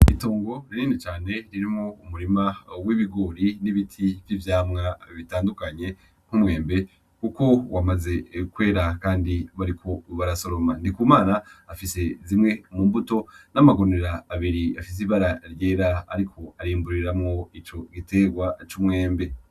Itongo rinini cane ririmwo umurima w'ibigori n'ibiti vy'ivyamwa bitandukanye nk'umwembe kuko wamaze kwera kandi bariko barasoroma, Ndikumana afise zimwe mu mbuto n'amagunira abiri afise ibara ryera ariko arimburiramwo ico giterwa c'umwembe.